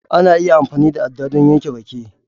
Ana iya amfani da aɗɗa don yanke rake